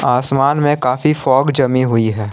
आसमान में काफी फॉग जमी हुई है।